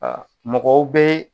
mɔgɔw bɛ